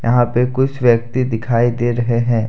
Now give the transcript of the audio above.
यहां पे कुछ व्यक्ति दिखाई दे रहे हैं।